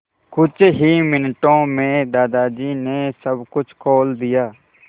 कुछ ही मिनटों में दादाजी ने सब कुछ खोल दिया